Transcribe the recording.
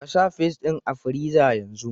Ka sa fis ɗin a friza yanzu!